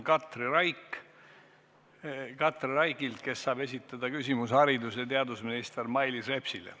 Katri Raik saab esitada küsimuse haridus- ja teadusminister Mailis Repsile.